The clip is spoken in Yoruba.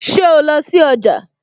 Ṣé o lọ sí ọjà?